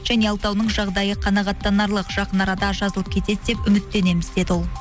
және алтауының жағдайы қанағаттанарлық жақын арада жазылып кетеді деп үміттенеміз деді ол